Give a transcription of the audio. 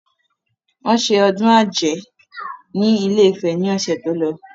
Wọn ṣe ọdún ajé ni ilé-ìfẹ́ ni ọ̀sẹ̀ tó lọ.